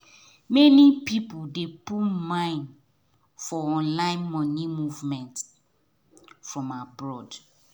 many people dey put mind for online money movement from abroad